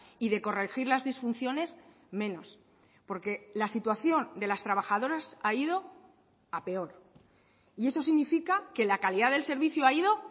y de corregir las disfunciones menos porque la situación de las trabajadoras ha ido a peor y eso significa que la calidad del servicio ha ido